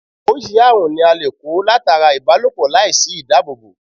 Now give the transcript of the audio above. Orisirisi aarun ni a le ko latara ibanilopọ lai si idaabobo